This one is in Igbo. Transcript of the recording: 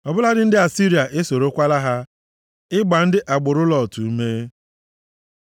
Ọ bụladị ndị Asịrịa esorokwala ha, ịgba ndị agbụrụ Lọt ume. Sela